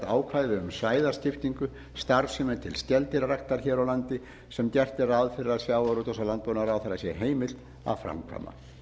um svæðaskiptingu starfsemi til skeldýraræktar hér á landi sem gert er ráð fyrir að sjávarútvegs og landbúnaðarráðherra sé heimilt að framkvæma